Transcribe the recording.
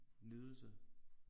Nydelse